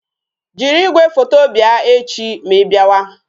Jiri igwefoto bịa echi ma I bịawa